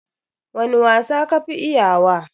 Wani wasa ka fi iya wa?